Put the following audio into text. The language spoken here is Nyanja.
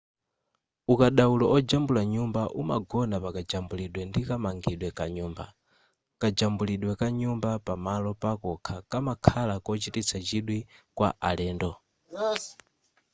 ukadaulo ojambula nyumba umagona pakajambulidwe ndi kamangidwe ka nyumba kajambulidwe ka nyumba pamalo pakokha kumakhala kochititsa chidwi kwa alendo